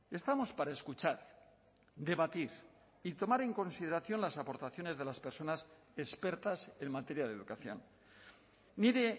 estamos para escuchar debatir y tomar en consideración las aportaciones de las personas expertas en materia de educación nire